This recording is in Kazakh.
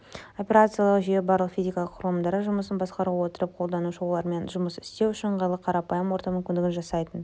операциялық жүйе барлық физикалық құрылымдардың жұмысын басқара отырып қолданушыны олармен жұмыс істеу үшін ыңғайлы қарапайым орта мүмкіндігін жасайтын